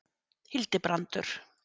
Hildibrandur